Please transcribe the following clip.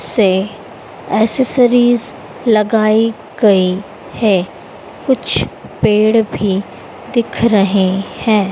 से एसेसरीज लगाई गई है कुछ पेड़ भी दिख रहे हैं।